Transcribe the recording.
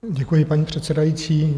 Děkuji, paní předsedající.